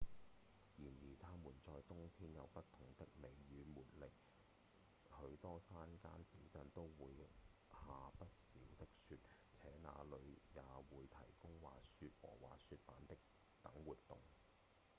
然而它們在冬天有不同的美與魅力許多山間小鎮都會下不少的雪且那裡也會提供滑雪和滑雪板等活動